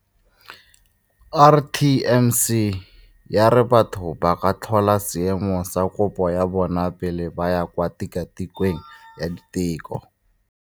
RTMC ya re batho ba ka tlhola seemo sa kopo ya bona pele ba ya kwa tikwatikweng ya diteko.